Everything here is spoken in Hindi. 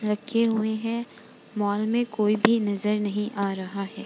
रखे हुए हैं। मॉल में कोई भी नजर नहीं आ रहा है।